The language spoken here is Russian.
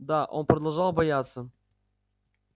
да он продолжал бояться